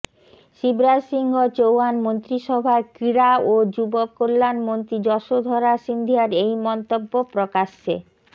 শিবরাজ সিংহ চৌহান মন্ত্রিসভার ক্রীড়া ও যুব কল্যাণ মন্ত্রী যশোধরা সিন্ধিয়ার এই মন্তব্য প্রকাশ্যে